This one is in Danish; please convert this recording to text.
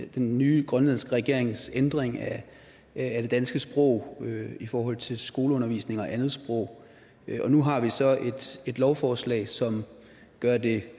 den nye grønlandske regerings ændring af det danske sprog i forhold til skoleundervisning og andet sprog nu har vi så et lovforslag som gør det